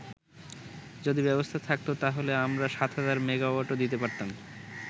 যদি ব্যবস্থা থাকতো, তাহলে আমরা ৭০০০ মেগাওয়াটও দিতে পারতাম।